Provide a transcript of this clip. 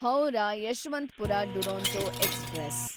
Howrah Yesvantpur Duronto express